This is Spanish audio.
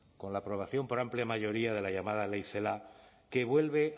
con la aprobación por amplia mayoría de la llamada ley celaá que vuelve